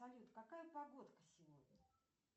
салют какая погодка сегодня